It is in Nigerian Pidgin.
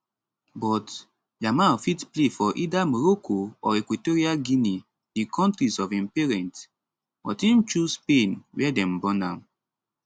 but yamal fit play for either morocco or equatorial guinea di kontris of im parents but im choose spain wia dem born am